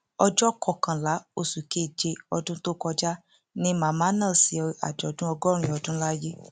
ọjọ kọkànlá oṣù keje ọdún tó kọjá ni màmá náà ṣe àjọdún ọgọrin ọdún láyé